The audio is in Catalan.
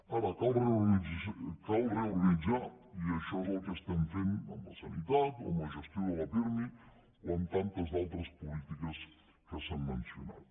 ara cal reorganitzar i això és el que estem fent amb la sanitat o amb la gestió de la pirmi o amb tantes altres polítiques que s’han mencionat